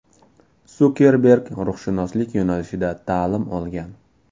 Sukerberg ruhshunoslik yo‘nalishida ta’lim olgan.